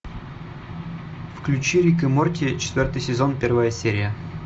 включи рик и морти четвертый сезон первая серия